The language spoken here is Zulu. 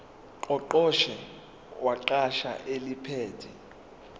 ngqongqoshe wegatsha eliphethe